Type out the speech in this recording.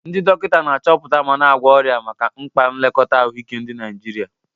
Ndị dọkịta na-achọpụta ma na-agwọ ọrịa maka mkpa nlekọta ahụike ndị Naijiria.